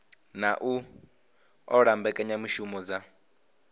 na u ṱola mbekanyamushumo dza